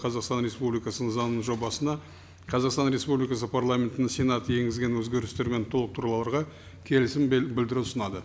қазақстан республикасының заңының жобасына қазақстан республикасы парламентінің сенаты енгізген өзгерістер мен толықтыруларға келісім білдіру ұсынады